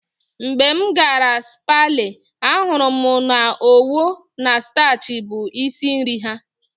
Mgbe m gara Sapele, ahụrụ m na Owo na Stachi bụ isi nri ha